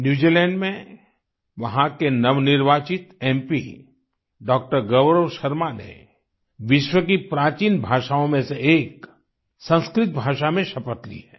New Zealand में वहाँ के नवनिर्वाचित एमपी डॉ० गौरव शर्मा ने विश्व की प्राचीन भाषाओं में से एक संस्कृत भाषा में शपथ ली है